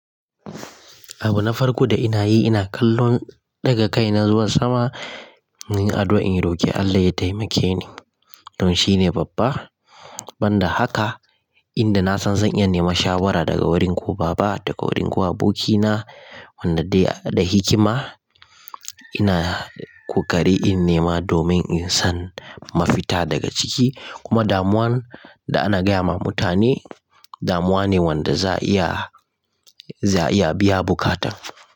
Abu na farko da nake nake ɗaga kai na zuwa sama, in ina addu'a in roki Allah ya taimake ni. Don shi ne babba. Ban da haka, inda na san zan iya neman shawara daga gurin ko baba daga gurin ko aboki na wanda da hikima, ina ƙoƙari in nema domin in sami mafita daga ciki. Kuma damuwar da ake gayawa mutane damuwa ce wanda za a iya, za a iya biyan bukatar.